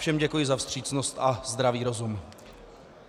Všem děkuji za vstřícnost a zdravý rozum.